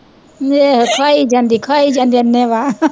ਏਹ ਖਾਈ ਜਾਂਦੀ ਖਾਈ ਜਾਂਦੀ ਅਨੇਵਾਹ